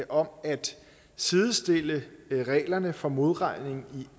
om at sidestille reglerne for modregning i